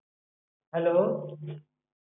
Hello.